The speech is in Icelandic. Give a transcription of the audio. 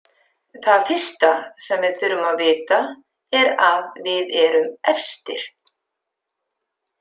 Það fyrsta sem við þurfum að vita er að við erum efstir.